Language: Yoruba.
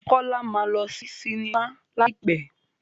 Kọ́lá máa lọ sí sinimá láì pẹ́.